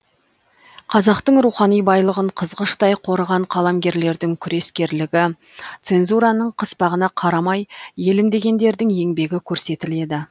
қазақтың рухани байлығын қызғыштай қорыған қаламгерлердің күрескерлігі цензураның қыспағына қарамай елім дегендердің еңбегі көрсетіледі